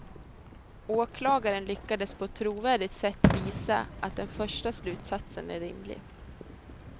Åklagaren lyckades på ett trovärdigt sätt visa att den första slutsatsen är rimlig.